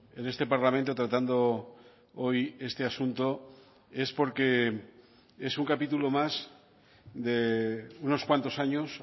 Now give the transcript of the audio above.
en este parlamento tratando hoy este asunto es porque es un capítulo más de unos cuantos años